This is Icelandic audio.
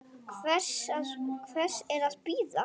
Hvers er að bíða?